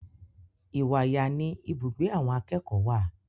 Ìwàyà ni ibùgbé àwọn akẹ́kọ̀ọ́ wà.